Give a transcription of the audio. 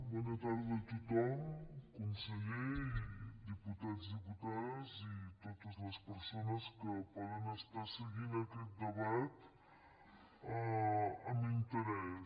bona tarda a tothom conseller i diputats i diputades i totes les persones que poden estar seguint aquest debat amb interès